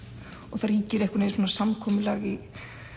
það ríkir einhvern veginn svona samkomulag í